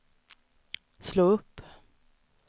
slå upp